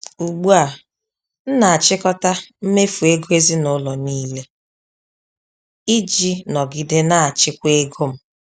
Ugbu a, m na-achịkọta mmefu ego ezinụlọ niile iji nọgide na-achịkwa ego m.